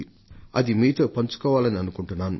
దానిని మీకు వెల్లడించాలనుకుంటున్నాను